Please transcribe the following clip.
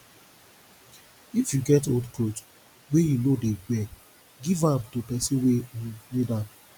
if you get old cloth wey you no dey wear give am to pesin wey um need am